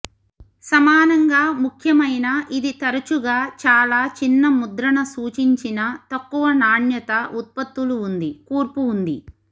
సమానంగా ముఖ్యమైన ఇది తరచుగా చాలా చిన్న ముద్రణ సూచించిన తక్కువ నాణ్యత ఉత్పత్తులు ఉంది కూర్పు ఉంది